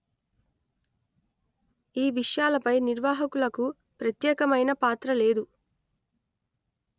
ఈ విషయాలపై నిర్వాహకులకు ప్రత్యేకమైన పాత్ర లేదు